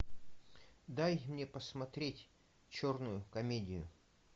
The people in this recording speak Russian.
дай мне посмотреть черную комедию